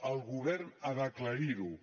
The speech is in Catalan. el govern ha d’acla·rir·ho